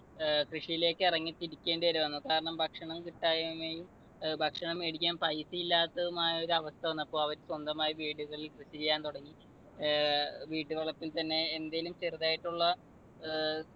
ഏർ കൃഷിയിലേക്ക് ഇറങ്ങിത്തിരിക്കേണ്ടി വരെ വന്നു. കാരണം ഭക്ഷണം കിട്ടായ്മയും ഭക്ഷണം മേടിക്കാൻ paisa ഇല്ലാത്തതുമായ ഒരു അവസ്ഥ വന്നപ്പോൾ അവര് സ്വന്തമായി വീടുകളിൽ കൃഷി ചെയ്യാൻ തുടങ്ങി. ഏർ വീട്ടുവളപ്പിൽ തന്നെ എന്തേലും ചെറുതായിട്ടുള്ള അഹ്